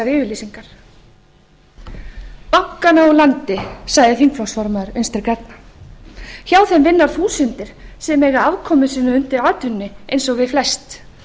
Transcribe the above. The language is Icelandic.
yfirlýsingar bankana úr landi sagði þingflokksformaður vinstri grænna hjá þeim vinna þúsundir sem eiga afkomu sína undir atvinnunni eins og við flest